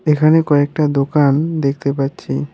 এখানে কয়েকটা দোকান দেখতে পাচ্ছি।